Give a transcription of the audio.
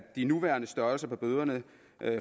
de nuværende størrelser på bøderne